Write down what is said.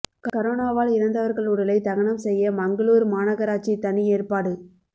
கரோனாவால் இறந்தவா்கள் உடலை தகனம் செய்ய மங்களூரு மாநகராட்சி தனி ஏற்பாடு